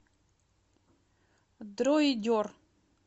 дроидер